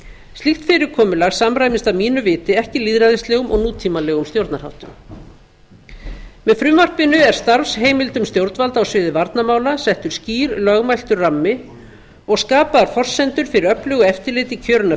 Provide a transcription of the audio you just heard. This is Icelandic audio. slíkt fyrirkomulag samræmist að mínu viti ekki lýðræðislegum og nútímalegum stjórnarháttum með frumvarpinu er starfsheimildum stjórnvalda á sviði varnarmála settur skýr lögmæltur rammi og skapaðar forsendur fyrir auknu eftirliti kjörinna